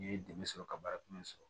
N ye dɛmɛ sɔrɔ ka baara kun sɔrɔ